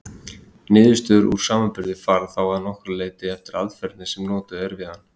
Niðurstöður úr samanburði fara þá að nokkru leyti eftir aðferðinni sem notuð er við hann.